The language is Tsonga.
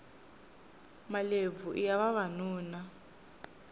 malebvu iya vavanuna